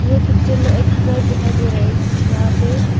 ये पिक्चर में एक घर दिखाई दे रहा है जहां पे--